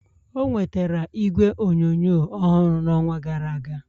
o nwetara igwe onyonyo ọhụrụ n'ọnwa gara aga